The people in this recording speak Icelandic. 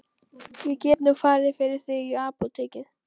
Ég get nú farið fyrir þig í apótekið.